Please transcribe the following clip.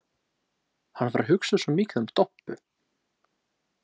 Hann var að hugsa svo mikið um Doppu.